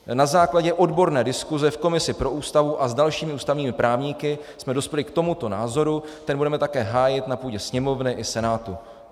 Na základě odborné diskuse v komisi pro Ústavu a s dalšími ústavními právníky jsme dospěli k tomuto názoru, ten budeme taky hájit na půdě Sněmovny i Senátu.